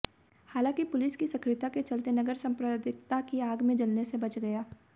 हालांकि पुलिस की सक्रियता के चलते नगर सांप्रदायिकता की आग में जलने से बच गया